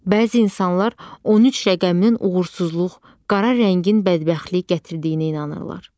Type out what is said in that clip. Bəzi insanlar 13 rəqəminin uğursuzluq, qara rəngin bədbəxtlik gətirdiyinə inanırlar.